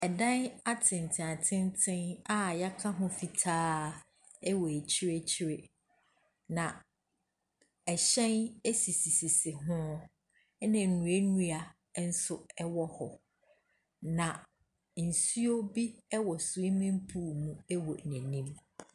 Adan atenten atenten a yɛaka ho fitaa wɔ akyire akyire, na hyɛn asisisisi ho, na nnuannua nso wɔ hɔ, na nsuo bi wɔ swmming pool mu wɔ n’anim.